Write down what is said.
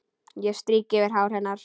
Ég strýk yfir hár hennar.